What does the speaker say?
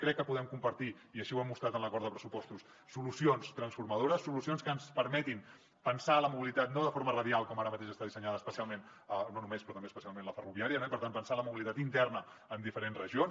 crec que podem compartir i així ho hem mostrat en l’acord de pressupostos solucions transformadores solucions que ens permetin pensar la mobilitat no de forma radial com ara mateix està dissenyada especialment no només però també especialment la ferroviària no i per tant pensar en la mobilitat interna en diferents regions